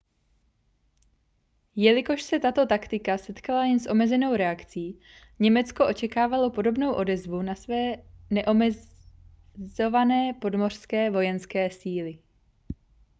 jelikož se tato taktika setkala jen s omezenou reakcí německo očekávalo podobnou odezvu na své neomezované podmořské vojenské síly